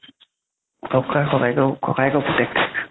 okay ককায়েকৰ, ককায়েকৰ পুতেক